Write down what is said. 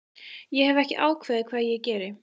Ég hef ekki ákveðið hvað ég geri